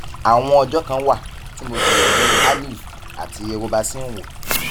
àwọn ọjọ kan wà tí mo gbìyànjú aleve àti robaxin wò